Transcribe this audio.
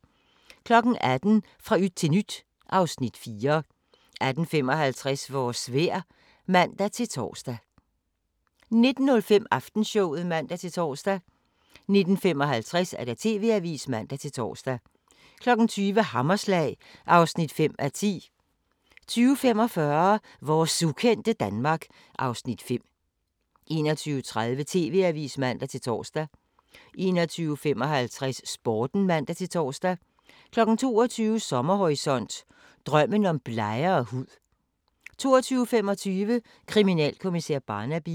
18:00: Fra yt til nyt (Afs. 4) 18:55: Vores vejr (man-tor) 19:05: Aftenshowet (man-tor) 19:55: TV-avisen (man-tor) 20:00: Hammerslag (5:10) 20:45: Vores ukendte Danmark (Afs. 5) 21:30: TV-avisen (man-tor) 21:55: Sporten (man-tor) 22:00: Sommerhorisont: Drømmen om blegere hud 22:25: Kriminalkommissær Barnaby